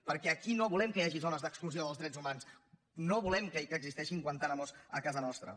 perquè aquí no volem que hi hagi zones d’exclusió dels drets humans no volem que existeixin guantánamos a casa nostra